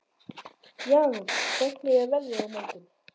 Jarún, hvernig er veðrið á morgun?